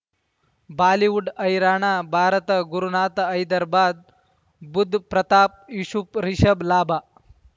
Bollywood ಹೈರಾಣ ಭಾರತ ಗುರುನಾಥ ಹೈದರಾಬಾದ್ ಬುಧ್ ಪ್ರತಾಪ್ ಯೂಶುಪ್ ರಿಷಬ್ ಲಾಭ